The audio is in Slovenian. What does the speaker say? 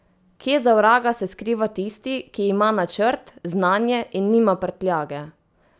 Kje za vraga se skriva tisti, ki ima načrt, znanje in nima prtljage?